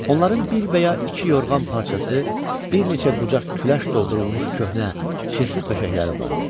Onların bir və ya iki yorğan parçası, bir neçə qucaq küləş doldurulmuş köhnə, çirkli döşəkləri vardı.